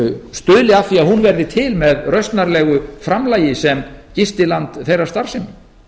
stuðli að því að hún verði til með rausnarlegu framlagi sem gistiland þeirrar starfsemi